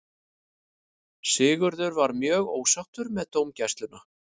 Sigurður var mjög ósáttur með dómgæsluna.